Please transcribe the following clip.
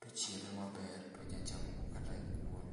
tochiele maber tonya chamo godo kata kuon